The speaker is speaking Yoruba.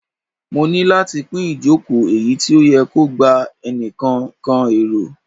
Mo ni lati pin ijoko eyi ti o yẹ ki o gba nikan kan ero